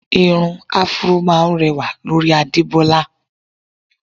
Irun áfúró máá ń rẹwà lórí Adebola